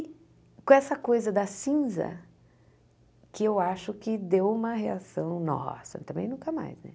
E com essa coisa da cinza, que eu acho que deu uma reação... Nossa, também nunca mais, né?